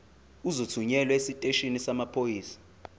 uzothunyelwa esiteshini samaphoyisa